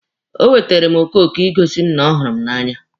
O weteere m okoko Ị gosi m na ọ hụrụ m n'anya.